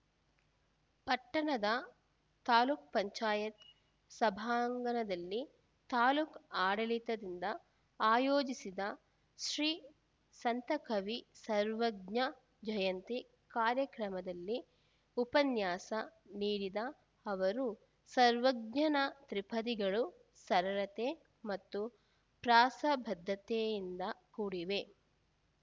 ಪಟ್ಟಣದ ತಾಲೂಕ್ ಪಂಚಾಯತ್ ಸಭಾಂಗಣದಲ್ಲಿ ತಾಲೂಕು ಆಡಳಿತದಿಂದ ಆಯೋಜಿಸಿದ್ದ ಶ್ರೀ ಸಂತಕವಿ ಸರ್ವಜ್ಞ ಜಯಂತಿ ಕಾರ್ಯಕ್ರಮದಲ್ಲಿ ಉಪನ್ಯಾಸ ನೀಡಿದ ಅವರು ಸರ್ವಜ್ಞನ ತ್ರಿಪದಿಗಳು ಸರಳತೆ ಮತ್ತು ಪ್ರಾಸಬದ್ಧತೆಯಿಂದ ಕೂಡಿವೆ